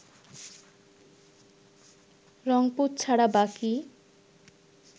রংপুর ছাড়া বাকি